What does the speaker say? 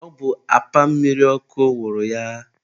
ọ bụ apa mmiri ọkụ wụrụ ya.